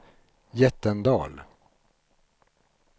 Jättendal